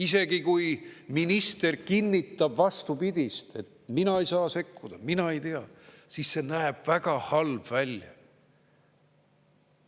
Isegi kui minister kinnitab vastupidist, et "mina ei saa sekkuda", "mina ei tea", siis see näeb väga halb välja.